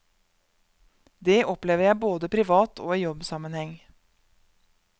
Det opplever jeg både privat og i jobbsammenheng.